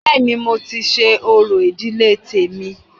Bẹ́ẹ̀ni, mo ti ṣe orò ìdílé tèmi